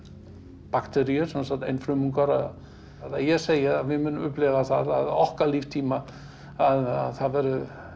bakteríur einfrumungar ég segi við munum upplifa það á okkar líftíma að það verði